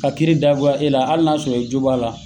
Ka kiiri da goya e la, hali n'a sɔrɔ i jo b'a la